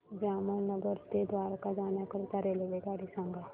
जामनगर ते द्वारका जाण्याकरीता रेल्वेगाडी सांग